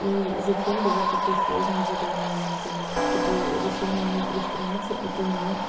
и зачем давать такие сложные задания я не пойму типа решения на три страницы это не